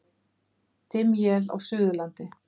Dimm él á Suðurlandi